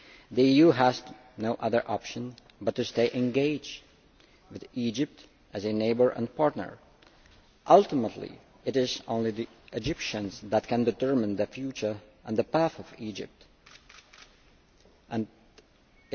The EU has no other option but to stay engaged with Egypt as a neighbour and partner. Ultimately it is only the Egyptians who can determine their future and Egypt's path.